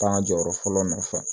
Taa jɔyɔrɔ fɔlɔ nɔfɛ